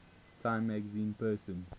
time magazine persons